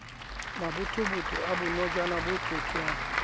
mabothobotho a bonojana bo tsotwang